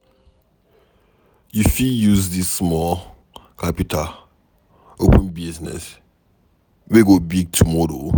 You fit use dis small capital open business wey go big tomorrow.